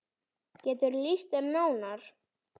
Geturðu lýst þeim nánar?